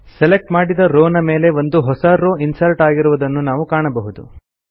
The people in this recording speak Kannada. ಸೆಲೆಕ್ಟ್ ಮಾಡಿದ ರೋವ್ ನ ಮೇಲ್ಗಡೆ ಒಂದು ಹೊಸ ರೋವ್ ಇನ್ಸರ್ಟ್ ಆಗಿರುವುದನ್ನು ಈಗ ನಾವು ಕಾಣಬಹುದು